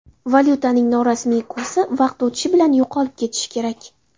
Valyutaning norasmiy kursi vaqt o‘tishi bilan yo‘qolib ketishi kerak.